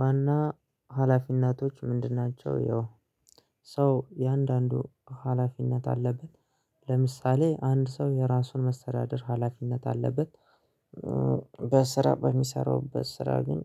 ዋና ሀላፊነቶች ምንድን ናቸው? ያው ሰው የአንዳንዱ ሀላፊነት አለበት ለምሳሌ አንድ ሰው የራሱን መሰተዳደር ሀላፊነት አለበት። በስራ በሚሰራበት ስራ ግን